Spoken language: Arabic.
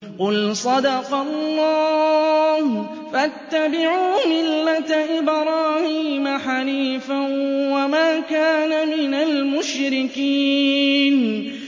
قُلْ صَدَقَ اللَّهُ ۗ فَاتَّبِعُوا مِلَّةَ إِبْرَاهِيمَ حَنِيفًا وَمَا كَانَ مِنَ الْمُشْرِكِينَ